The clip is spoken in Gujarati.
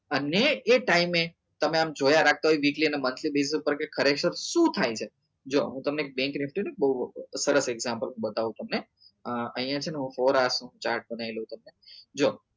અને એ time એ તમે આમ જોયા રાખતા હોય ના monthly base ઉપર કે ખરેખર શું થાય છે જો હું તમને એક બઉ સરસ example બતાવું તમને અ અહિયાં છે ને હું નું chart બનાઈ લઉં તમને જો